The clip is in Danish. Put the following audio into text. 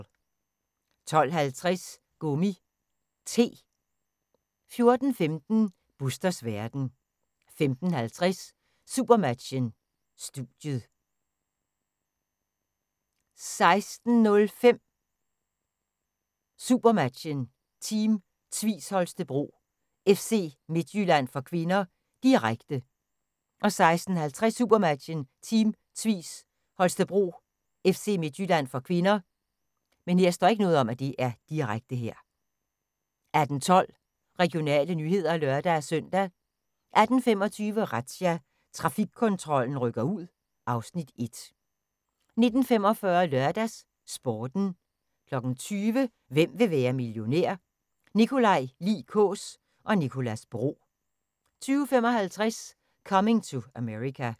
12:50: Gummi T 14:15: Busters verden 15:50: Supermatchen: Studiet 16:05: SuperMatchen: Team Tvis Holstebro-FC Midtjylland (k), direkte 16:50: SuperMatchen: Team Tvis Holstebro-FC Midtjylland (k) 18:12: Regionale nyheder (lør-søn) 18:25: Razzia – Trafikkontrollen rykker ud (Afs. 1) 19:45: LørdagsSporten 20:00: Hvem vil være millionær? Nikolaj Lie Kaas og Nicolas Bro 20:55: Coming to America